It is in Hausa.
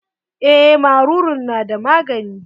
Eh maruru na da magani.